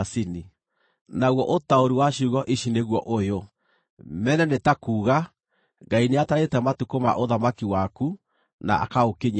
“Naguo ũtaũri wa ciugo ici nĩguo ũyũ: MENE nĩ ta kuuga: Ngai nĩatarĩte matukũ ma ũthamaki waku, na akaũkinyia mũthia.